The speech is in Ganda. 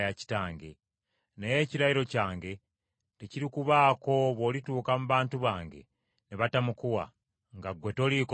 Naye ekirayiro kyange tekirikubaako bw’olituuka mu bantu bange ne batamukuwa, nga ggwe toliiko musango.’